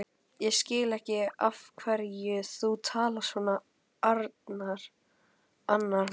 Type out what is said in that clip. Ég skil ekki af hverju þú talar svona, Arnar minn.